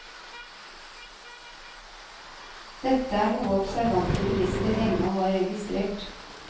Dette er noe observante bilister lenge har registrert.